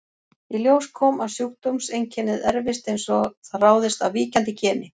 Í ljós kom að sjúkdómseinkennið erfist eins og það ráðist af víkjandi geni.